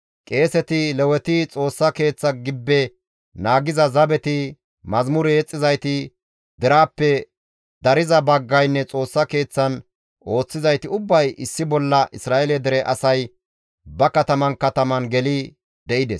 Qeeseti, Leweti, Xoossa Keeththa gibbe naagiza zabeti, mazamure yexxizayti deraappe dariza baggaynne Xoossa Keeththan ooththizayti ubbay issi bolla Isra7eele dere asay ba kataman kataman geli de7ides.